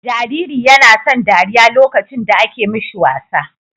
Jariri YAna son dariya lokacin da ake mishi wasa